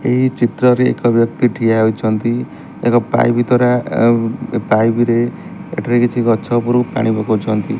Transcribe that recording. ଏହି ଚିତ୍ରରେ ଏକ ବ୍ୟକ୍ତି ଠିଆ ହୋଇଛନ୍ତି ଏକ ପାଇପ୍ ଦ୍ୱାରା ଆଉ ଏ ପାଇପ୍ ରେ ଏଠାରେ କିଛି ଗଛ ଉପରକୁ ପାଣି ପକଉଚନ୍ତି।